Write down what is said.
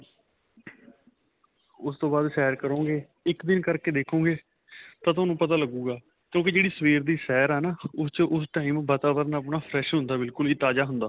ਉਸ ਤੋਂ ਬਾਅਦ ਸੈਰ ਕਰੋਗੇ ਇੱਕ ਦਿਨ ਕਰਕੇ ਦੇਖੋਗੇ ਤਾਂ ਤੁਹਾਨੂੰ ਪਤਾ ਲੱਗੂਗਾ ਕਿਉਂਕਿ ਜਿਹੜੀ ਸਵੇਰ ਦੀ ਸੈਰ ਹੈ ਨਾ ਉਸ ਚ ਉਸ time ਵਾਤਾਵਰਨ ਆਪਣਾ fresh ਹੁੰਦਾ ਬਿਲਕੁਲ ਹੀ ਤਾਜਾ ਹੁੰਦਾ